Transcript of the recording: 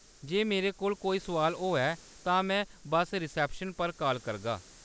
जे मेरे कोल कोई सुआल होएआ, तां में बस्स रिसेप्शन पर काल करगा।